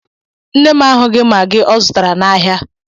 Nne m ahụghị magi ọ zutara n'ahja